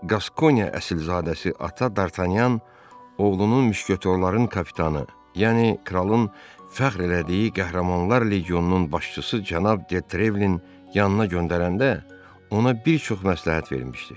Qaskonya əsilzadəsi ata Dartanyan oğlunun müşketörların kapitanı, yəni kralın fəxr elədiyi qəhrəmanlar legionunun başçısı cənab De Trevlin yanına göndərəndə ona bir çox məsləhət vermişdi.